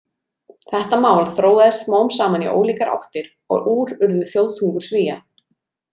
Þetta mál þróaðist smám saman í ólíkar áttir og úr urðu þjóðtungur Svía.